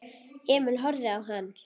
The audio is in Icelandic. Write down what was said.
Emil horfði á hann.